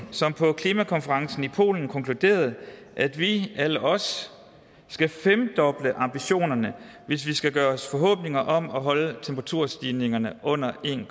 som på klimakonferencen i polen konkluderede at vi alle os skal femdoble ambitionerne hvis vi skal gøre os forhåbninger om at holde temperaturstigningerne under en